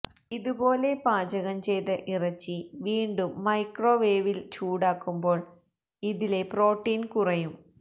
ഇതുപോലെ പാചകം ചെയ്ത ഇറച്ചി വീണ്ടും മൈക്രോവേവില് ചൂടാക്കുമ്പോള് ഇതിലെ പ്രോട്ടീന് കുറയും